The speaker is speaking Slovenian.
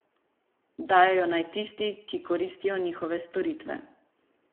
Dajejo naj tisti, ki koristijo njihove storitve.